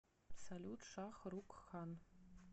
салют шах рукх кхан